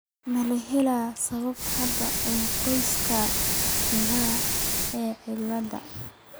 Ma la helay sabab hidde ah oo qoyska jaalaha ah cilladda?